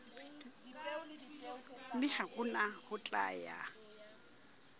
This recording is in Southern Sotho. mme hona ho tla ya